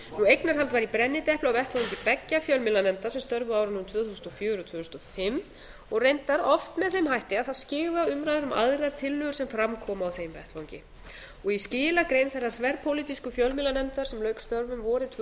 eignarhald var í brennidepli á vettvangi beggja fjölmiðlanefnda sem störfuðu á árunum tvö þúsund og fjögur og tvö þúsund og fimm og reyndar oft með þeim hætti að það skyggði á umræður um aðrar tillögur sem fram komu á þeim vettvangi í skilagrein þeirrar þverpólitísku fjölmiðlanefndar sem lauk störfum vorið tvö